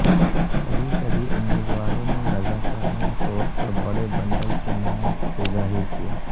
کبھی کبھی امیدواروں نے رضاکارانہ طور پر بڑے بنڈل کے نام کو ظاہر کیا